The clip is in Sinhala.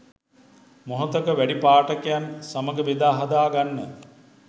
මොහොතක වැඩි පාඨකයන් සමඟ බෙදා හදා ගන්න